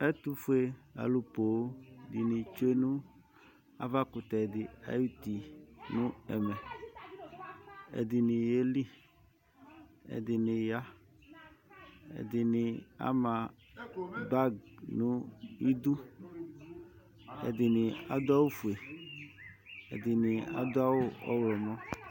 Ɛtʋfuealʋ poo dɩnɩ tsue nʋ avakʋtɛ dɩ ayuti nʋ ɛmɛ Ɛdɩnɩ yeli, ɛdɩnɩ ya, ɛdɩnɩ ama bag nʋ idu, ɛdɩnɩ adʋ awʋfue, ɛdɩnɩ adʋ awʋ ɔɣlɔmɔ